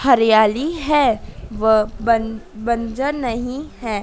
हरियाली है व बन बंजर नहीं है।